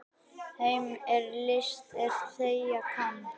Þeim er list er þegja kann.